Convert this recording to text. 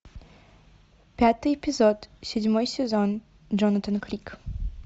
пятый эпизод седьмой сезон джонатан крик